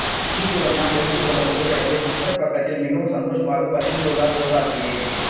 அஜித்துடன் தன் எடுத்துக்கொண்ட புகைப்படத்தை டுவிட்டர் பக்கத்தில் மிகவும் சந்தோஷமாக பகிர்ந்துள்ளார் சிவகார்த்திகேயன்